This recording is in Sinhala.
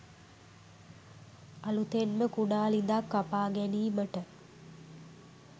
අලුතෙන්ම කුඩා ළිඳක් කපා ගැනීමට